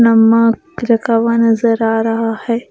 नमक रखा हुआ नजर आ रहा है ।